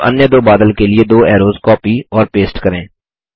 अब अन्य दो बादल के लिए दो ऐरोज़ कॉपी और पेस्ट करें